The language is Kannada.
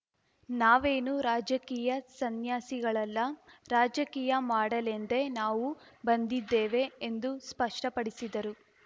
ನಾವೇನು ರಾಜಕೀಯ ಸನ್ಯಾಸಿಗಳಲ್ಲ ರಾಜಕೀಯ ಮಾಡಲೆಂದೇ ನಾವು ಬಂದಿದ್ದೇವೆ ಎಂದು ಸ್ಪಷ್ಟಪಡಿಸಿದರು